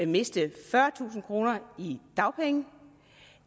miste fyrretusind kroner i dagpenge